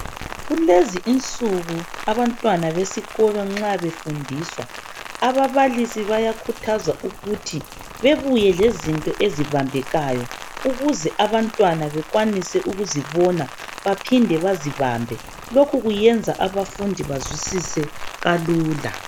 Kulezi insuku abantwana besikolo nxa befundiswa ababalisi bayakhuthazwa ukuthi bebuye lezinto ezibambekayo. Ukuze abantwana bakwanise ukuzibona baphinde bazibambe. Lokhu kuyenza abafundi bazwisise kalula.